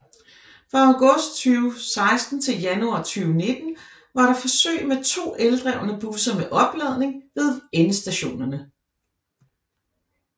Fra august 2016 til januar 2019 var der forsøg med to eldrevne busser med opladning ved endestationerne